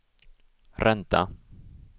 ränta